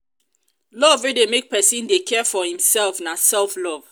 love wey de make persin de care for imself na self love